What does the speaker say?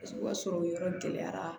O b'a sɔrɔ o yɔrɔ gɛlɛyara